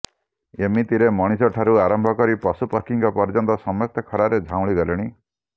ଏମିତିରେ ମଣିଷଙ୍କଠାରୁ ଆରମ୍ଭ କରି ପଶୁପକ୍ଷୀଙ୍କ ପର୍ଯ୍ୟନ୍ତ ସମସ୍ତେ ଖରାରେ ଝାଉଁଳି ଗଲେଣି